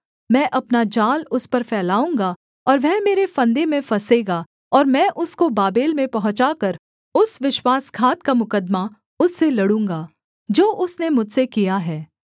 मैं अपना जाल उस पर फैलाऊँगा और वह मेरे फंदे में फँसेगा और मैं उसको बाबेल में पहुँचाकर उस विश्वासघात का मुकद्दमा उससे लड़ूँगा जो उसने मुझसे किया है